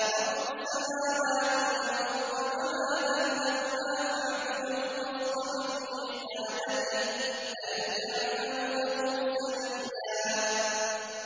رَّبُّ السَّمَاوَاتِ وَالْأَرْضِ وَمَا بَيْنَهُمَا فَاعْبُدْهُ وَاصْطَبِرْ لِعِبَادَتِهِ ۚ هَلْ تَعْلَمُ لَهُ سَمِيًّا